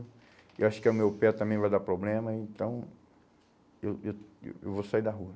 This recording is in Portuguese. Eu acho que o meu pé também vai dar problema, então eu eu eu vou sair da rua.